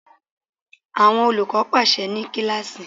Àwọn olùkọ́ pàsẹ ní kíláàsì.